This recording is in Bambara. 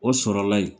O sɔrɔla yen